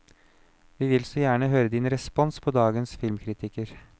Vi vil så veldig gjerne høre din respons på dagens filmkritikker.